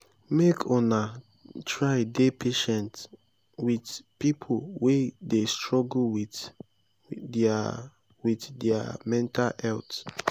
make una try dey patient wit pipo wey dey struggle wit their wit their mental health.